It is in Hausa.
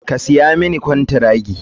Ka siya mani kwantiragi.